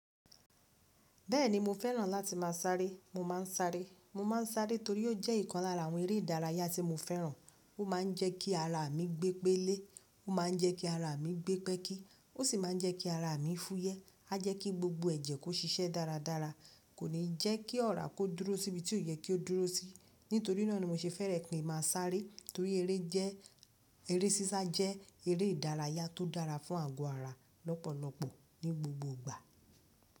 Bẹ́ẹ̀ni mo fẹ́ràn láti máa sárẹ́. Mo máa ń sárẹ́, mo máa ń sárẹ́ torí ó jẹ́ ìkan lára àwọn eré ìdárayá tí mo fẹ́ràn. Ó máa ń jẹ́ kí ara mi gbé pélé, ó máa ń jẹ́ kí ara mi gbé pẹ́kí, ó sì máa ń jẹ́ kí ara mi fúyẹ́. A jẹ́ kí gbogbo ẹ̀jẹ̀ kó ṣiṣẹ́ dáradára, kò ní jẹ́ kí ọ̀rá kó dúró síbi tí ó yẹ kí ó dúró sí. Nítorí náà ni mo ṣe fẹ́rẹ̀ pé máa sárẹ́ torí eré jẹ́, eré sísá jẹ́ eré ìdárayá tó dára fún àgọ́ ara lọ́pọ̀lọ́pọ̀ ní gbogbo igbà.